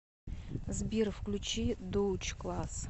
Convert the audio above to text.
сбер включи доутч класс